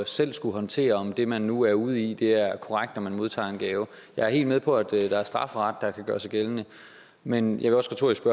selv at skulle håndtere om det man nu er ude i er korrekt når man modtager en gave jeg er helt med på at der er strafferet der kan gøre sig gældende men jeg vil også retorisk